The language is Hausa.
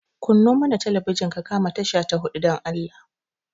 Kanno mana talabijin ka kama tasha ta huɗu, dan Allah.